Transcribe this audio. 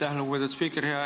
Aitäh, lugupeetud spiiker!